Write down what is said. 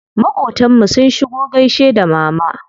Maƙotan mu sun shigo gaishe da mama.